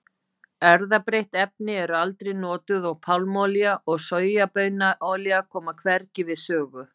Erfðabreytt efni eru aldrei notuð og pálmaolía og sojabaunaolía koma hvergi við sögu.